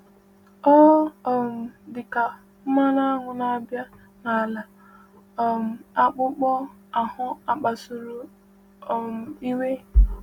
Ọ um dịkwa ka mmanụ aṅụ na-abà n’ala um akpụkpọ ahụ akpasuru um iwe!